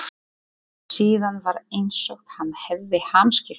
Síðan var einsog hann hefði hamskipti.